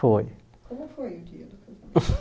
Foi Como foi